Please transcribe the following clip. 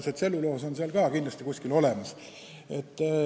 Ja tselluloos on seal ka kindlasti olemas.